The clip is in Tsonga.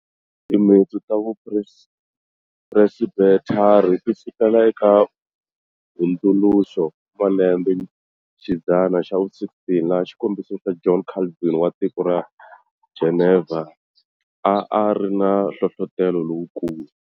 Timintsu ta Vu Presbethari ti sukela eka hundzuluxo wa malembexidzana xa vu 16, laha xikombiso xa John Calvin wa tiko ra Geneva, a ari na nhlohlotelo lowukulu.